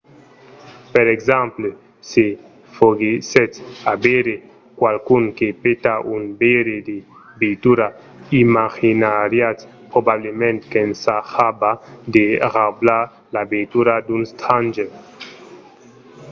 per exemple se foguèssetz a veire qualqu’un que peta un veire de veitura imaginariatz probablament qu'ensajava de raubar la veitura d’un stranger